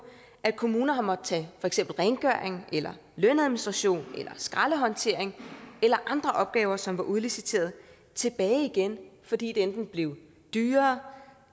at kommuner har måttet tage rengøring eller lønadministration eller skraldehåndtering eller andre opgaver som var udliciteret tilbage igen fordi det enten blev dyrere